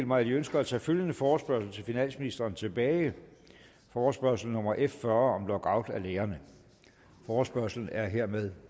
mig at de ønsker at tage følgende forespørgsel til finansministeren tilbage forespørgsel nummer f fyrre om lockout af lærerne forespørgslen er hermed